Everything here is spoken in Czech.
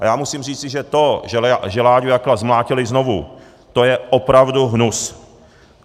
A já musím říci, že to, že Láďu Jakla zmlátili znovu, to je opravdu hnus.